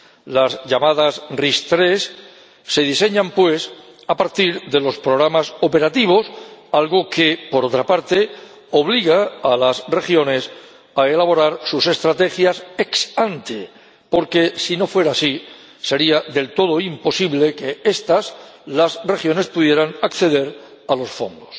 Las llamadas RIS3 se diseñan, pues, a partir de los programas operativos, algo que, por otra parte, obliga a las regiones a elaborar sus estrategias ex ante porque, si no fuera así, sería del todo imposible que estas, las regiones, pudieran acceder a los fondos.